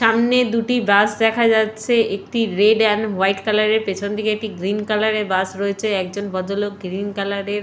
সামনে দুটি বাস দেখা যাচ্ছে। একটি রেড এন্ড হোয়াইট কালার -এর পেছন দিকে একটি গ্রীন কালার -এর বাস রয়েছে। একজন ভদ্রলোক গ্রীন কালার -এর--